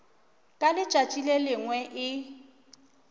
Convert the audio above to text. ka letšatši le lengwe e